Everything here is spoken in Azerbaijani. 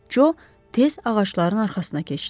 Co tez ağacların arxasına keçdi.